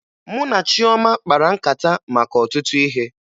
Mụ na Chioma kpara nkata maka ọtụtụ ihe